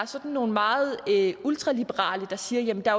sådan meget ultraliberale der siger jamen der